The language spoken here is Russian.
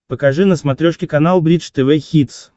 покажи на смотрешке канал бридж тв хитс